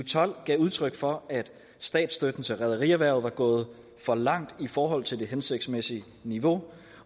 tolv gav udtryk for at statsstøtten til rederierhvervet var gået for langt i forhold til det hensigtsmæssige niveau